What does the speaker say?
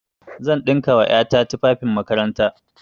Zan ɗinka wa ƴa ta tufafin makaranta.